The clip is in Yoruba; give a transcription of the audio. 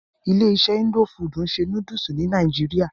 Ilé iṣé indo fudù ń ṣe nódúsì ní nàìjíría.